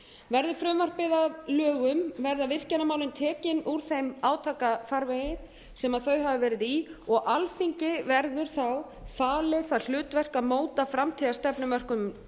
verði frumvarpið að lögum verða virkjunarmálin tekin úr þeim átakafarvegi sem þau hafa verið í og alþingi verður þá falið það hlutverk að móta framtíðarstefnumörkun um